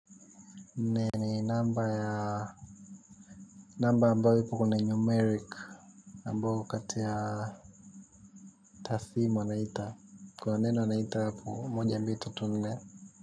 Ni namba ya namba ambayo ipo kwenye numeric ambayo katea tathimo anaita kuwaneno anaita mmoja mbito tunne.